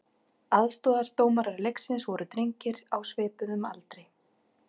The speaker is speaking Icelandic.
Aðstoðardómarar leiksins voru drengir á svipuðum aldri.